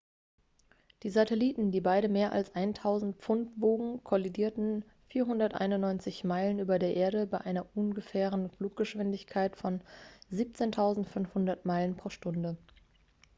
die satelliten die beide mehr als 1.000 pfund wogen kollidierten 491 meilen über der erde bei einer ungefähren fluggeschwindigkeit von 17.500 meilen pro stunde